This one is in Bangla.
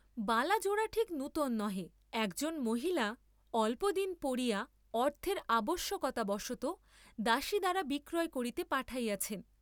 বালা জোড়া ঠিক নূতন নহে, একজন মহিলা অল্পদিন পরিয়া অর্থের আবশ্যকতাবশতঃ দাসী দ্বারা বিক্রয় করিতে পাঠাইয়াছেন।